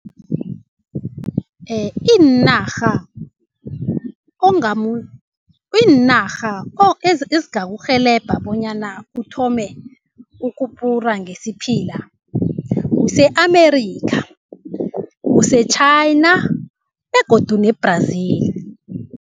Iinarha Iinarha ezingakurhelebha bonyana uthome ukubhura ngesiphila kuse-America kuse-China begodu ne-Brazil.